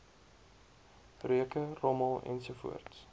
reuke rommel ensovoorts